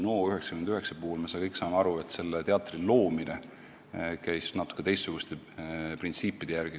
Me saame kõik aru, et Teater NO99 loomine käis natuke teistsuguste printsiipide järgi.